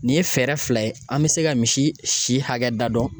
Nin ye fɛɛrɛ fila ye an bɛ se ka misi si hakɛ da dɔn.